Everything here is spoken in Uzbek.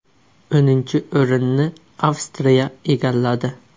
O‘ninchi o‘rinni Avstriya egalladi.